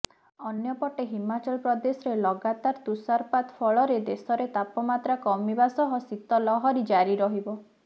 ଅନ୍ୟପଟେ ହିମାଚଳ ପ୍ରଦେଶରେ ଲଗାତାର ତୁଷାରପାତ ଫଳରେ ଦେଶରେ ତାପମାତ୍ରା କମିବା ସହ ଶୀତ ଲହରି ଜାରି ରହିବ